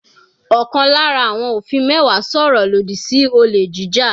Ọ̀kan lára àwọn òfin mẹ́wàá sọ̀rọ̀ lòdì sí olè jíjà.